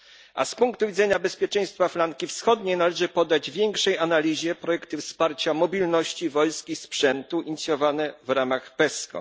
A z punktu widzenia bezpieczeństwa flanki wschodniej należy poddać większej analizie projekty wsparcia mobilności wojsk i sprzętu inicjowane w ramach PESCO.